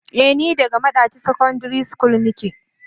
Eh ni daga madaci secondary school ne.